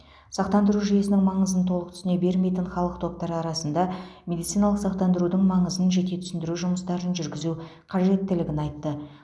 сақтандыру жүйесінің маңызын толық түсіне бермейтін халық топтары арасында медициналық сақтандырудың маңызын жете түсіндіру жұмыстарын жүргізу қажеттілігін айтты